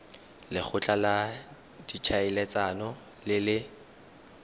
lekgotla la ditlhaeletsano le le